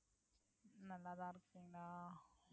நல்லாதான் இருக்கீங்களா